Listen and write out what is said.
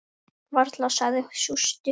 Varla, sagði sú stutta.